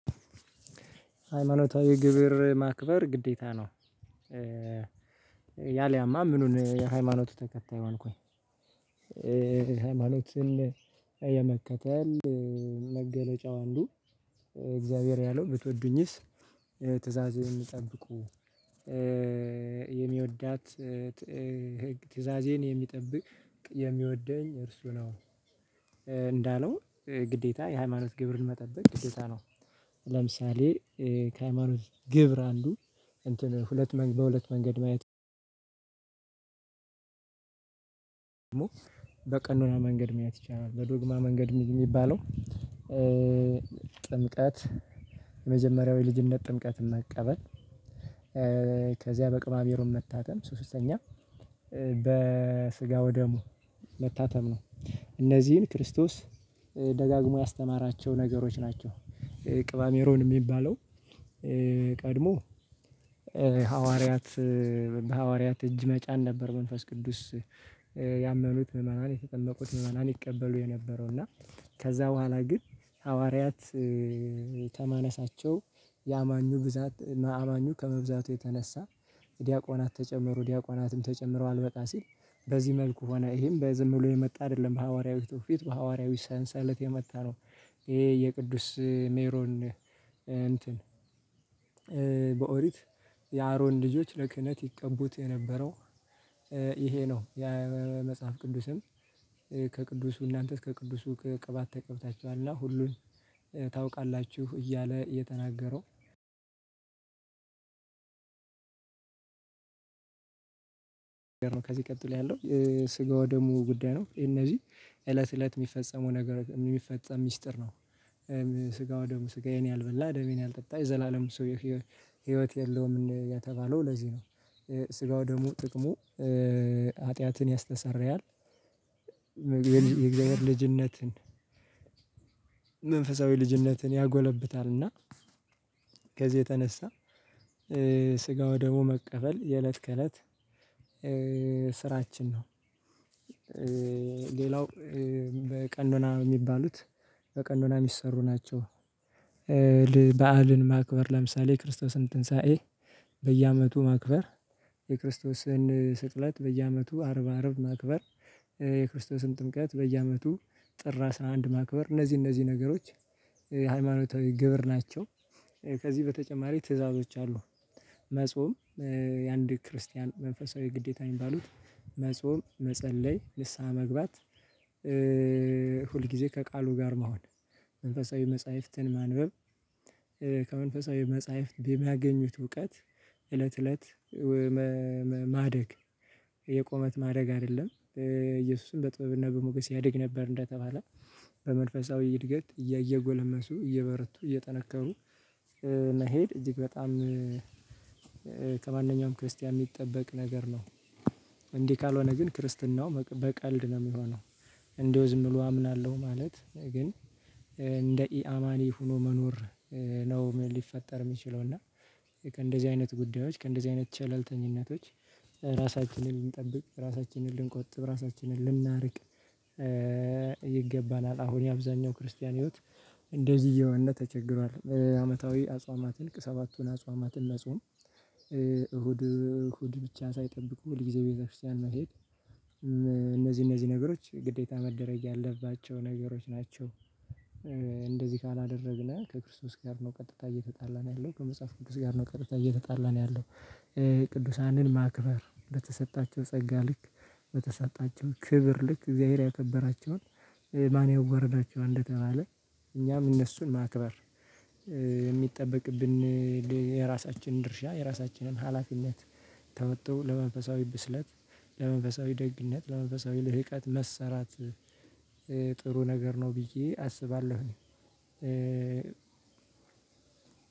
ሃይማኖታዊ ግብር ማክበር ግዴታ ነው። ያሊያማ ምኑን የሃይማኖቱ ተከታይ ሆንኩኝ። ሃይማኖትን የመከተል መገለጫው አንዱ እግዚአብሔር ያለው ብትወዱኝስ ትዕዛዜን ጠብቁ? የሚወዳት ትእዛዜን የሚጠብቅ የሚወደኝ እርሱ ነው። እንዳለው ግዴታ የሃይማኖት ግብርን መጠበቅ ግዴታ ነው። ለምሳሌ ከሃይማኖት ግብር አንዱ እንትን ሁለት በሁለት መንገድ ማየት በቀኖና መንገድ መያዝ ይቻላል። በዶግማ መንገድ የሚባለው ጥምቀት የመጀመሪያው የልጅነት ጥምቀትን መቀበል። ከዚያ በቅባ ሜሮን መታተም ሶስተኛ በስጋው ደሙ መታተም ነው እነዚህን ክርስቶስ ደጋግሞ ያስተማራቸው ነገሮች ናቸው። ቅብዓ ሜሮን የሚባለው ቀድሞ ሐዋርያት በሐዋርያት እጅ መጫን ነበር። መንፈስ ቅዱስ ያመኑት ምዕመናን የተጠመቁት ምዕመናን ይቀበሉ የነበረው እና። ከዛ በኋላ ግን ሐዋርያት ተማነሳቸው የአማኙ ብዛት አማኙ ከመብዛቱ የተነሳ ዲያቆናት ተጨመሩ። ዲያቆናትም ተጨምረው አልበቃ ሲል በዚህ መልኩ ሆነ ይሄም በዝም ብሎ የመጣ አይደለም ሐዋርያዊ ትውፊቱ ሐዋርያዊ ሰንሰለት የመጣ ነው። ይሄ የቅዱስ ሜሮን እንትን በኦሪት የአሮን ልጆች ለክህነት ይቀቡት የነበረው ይሄ ነው። የመጽሐፍ ቅዱስን ከቅዱሱ እናንተስ ከቅዱሱ ከቅባት ተቀብታችኋልና ሁሉን ታውቃላችሁ እያለ የተናገረው ነው። ከዚህ ቀጥሎ ያለው ስጋው ደሙ ጉዳይ ነው እነዚህ እለት እለት የሚፈጸመው ነገር የሚፈጸም ሚስጥር ነው። ስጋው ደሙ ስጋዬን ያልበላ ደሜን ያልጠጣ የዘላለም ሰው ህይወት የለውም የተባለው ለዚህ ነው። ስጋው ደግሞ ጥቅሙ ኃጢአትን ያስተሰርያል የእግዚአብሔር ልጅነትን መንፈሳዊ ልጅነትን ያጎለብታልና። ከዚህ የተነሳ ስጋወ ደሙ መቀበል የእለት ከእለት ስራችን ነው። ሌላው በቀኖና የሚባሉት በቀኖና የሚሰሩ ናቸው። በዓልን ማክበር ለምሳሌ የክርስቶስን ትንሳኤ በየአመቱ ማክበር የክርስቶስን ስቅለት በየአመቱ አርብ አርብ ማክበር የክርስቶስን ጥምቀት በየ አመቱ ጥር አስራ አንድ ማክበር እነዚህ እነዚህ ነገሮች ሃይማኖታዊ ግብር ናቸው። ከዚህ በተጨማሪ ትዕዛዞች አሉ መጾም የአንድ ክርስቲያን መንፈሳዊ ግዴታ የሚባሉት መጾም መጸለይ ንስሃ መግባት ሁል ጊዜ ከቃሉ ጋር መሆን መንፈሳዊ መጽሐፍትን ማንበብ። ከመንፈሳዊ መጽሐፍት በሚያገኙት እውቀት እለት እለት ማደግ የቁመት ማደግ አይደለም እየሱስም በጥበብና በሞገስ ያድግ ነበር እንደተባለ በመንፈሳዊ እድገት እየጎለመሱ እየበረቱ እየጠነከሩ መሄድ እጅግ በጣም ከማንኛውም ክርስቲያን የሚጠበቅ ነገር ነው። እንዲህ ካልሆነ ግን ክርስትናው በቀልድ ነው የሚሆነው። እንደውም ዝም ብሎ አምናለሁ ማለት ግን እንደ ኢአማኒ ሆኖ መኖር ነው። ሊፈጠር የሚችለው እና ከእንደዚህ አይነት ጉዳዮች ከእንደዚህ አይነት ቸለልተኝነቶች ራሳችንን ልንጠብቅ ራሳችንን ልንቆጥብ ራሳችንን ልናርቅ ይገባናል። አሁን የአብዛኛው ክርስቲያን ህይወት እንደዚህ እየሆነ ተቸግሯል አመታዊ አጽዋማትን ሰባቱን አጽዋማትን መጾም እሁድ እሁድ ብቻ ሳይጠብቁ ሁልጊዜ ቤተክርስቲያን መሄድ እነዚህ እነዚህ ነገሮች ግዴታ መደረግ ያለባቸው ነገሮች ናቸው። እንደዚህ ካላደረግነው ከክርስቶስ ጋር ነው ቀጥታ እየተጣላን ያለው ከመጽሐፍ ቅዱስ ጋር ነው ቀጥታ እየተጣላን ያለው። ቅዱሳንን ማክበር በተሰጣቸው ጸጋ ልክ በተሰጣቸው ክብር ልክ እግዚአብሔር ያከበራቸውን ማን ያወረዳቸው እንደተባለ እኛም እነሱን ማክበር የሚጠበቅብን የራሳችንን ድርሻ የራሳችንን ሀላፊነት ተወጥቶ ለመንፈሳዊ ብስለት ለመንፈሳዊ ደግነት ለመንፈሳዊ ልህቀት መሰራት። ጥሩ ነገር ነው ብዬ አስባለሁ።